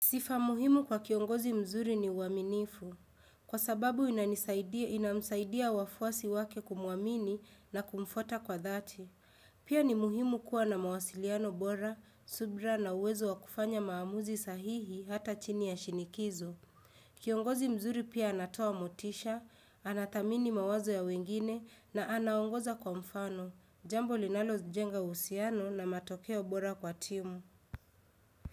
Sifa muhimu kwa kiongozi mzuri ni uwaminifu. Kwa sababu inamsaidia wafuasi wake kumuamini na kumfuata kwa dhati. Pia ni muhimu kuwa na mawasiliano bora, subra na uwezo wa kufanya maamuzi sahihi hata chini ya shinikizo. Kiongozi mzuri pia anatoa motisha, anadhamini mawazo ya wengine na anaongoza kwa mfano. Jambo linalojenga uhusiano na matokeo bora kwa timu.